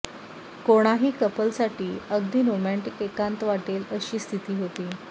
कोणाही कपल साठी अगदी रोमँटीक एकांत वाटेल अशी स्थिती होती